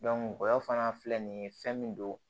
gɔyɔ fana filɛ nin ye fɛn min don